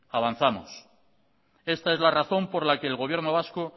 avanzamos esta es la razón por la que el gobierno vasco